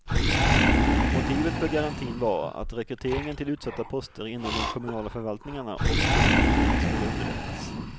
Motivet för garantin var att rekryteringen till utsatta poster inom de kommunala förvaltningarna och politiken skulle underlättas.